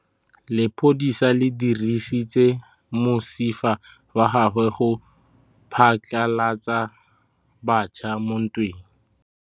Lepodisa le dirisitse mosifa wa gagwe go phatlalatsa batšha mo ntweng.